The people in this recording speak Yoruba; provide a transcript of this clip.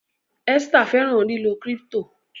Esther fẹran lilọ crypto